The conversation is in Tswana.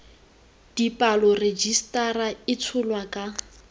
dipalo rejisetara e tsholwa ka